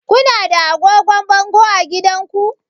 Ku na da agogon bango a gidanku?